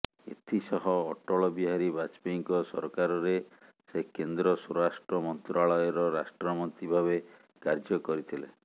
ଏଥିସହ ଅଟ୍ଟଳ ବିହାରୀ ବାଜେପୟୀଙ୍କ ସରକାରରେ ସେ କେନ୍ଦ୍ର ସ୍ୱରାଷ୍ଟ୍ର ମନ୍ତ୍ରଣାଳୟର ରାଷ୍ଟ୍ରମନ୍ତ୍ରୀ ଭାବେ କାର୍ଯ୍ୟ କରିଥିଲେ